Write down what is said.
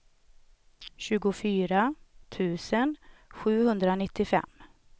tjugofyra tusen sjuhundranittiofem